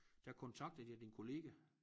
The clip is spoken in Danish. Der kontaktede jeg din kollega